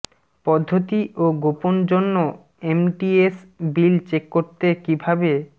পদ্ধতি ও গোপন জন্য এমটিএস বিল চেক করতে কিভাবে